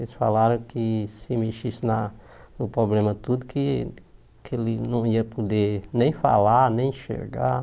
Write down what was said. Eles falaram que se mexesse na no problema tudo, que que ele não ia poder nem falar, nem enxergar.